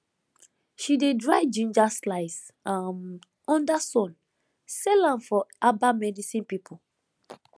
she dey dry ginger slice um under sun sell am for herbal medicine people